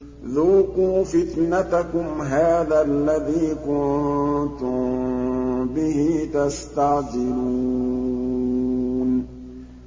ذُوقُوا فِتْنَتَكُمْ هَٰذَا الَّذِي كُنتُم بِهِ تَسْتَعْجِلُونَ